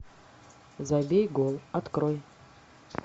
забей гол открой